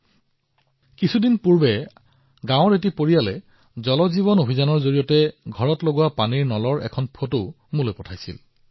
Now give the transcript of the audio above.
মাত্ৰ কেইদিনমান আগতে গাওঁ এখনৰ এটা পৰিয়ালে মোক জল জীৱন মিছনৰ অধীনত ঘৰটোত স্থাপন কৰা পানীৰ টেপৰ এখন ফটো প্ৰেৰণ কৰিছিল